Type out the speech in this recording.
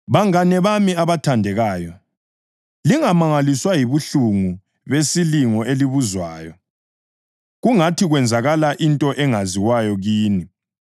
Bangane bami abathandekayo, lingamangaliswa yibuhlungu besilingo elibuzwayo, kungathi kwenzakala into engaziwayo kini.